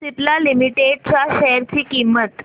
Cipla limited च्या share ची किंमत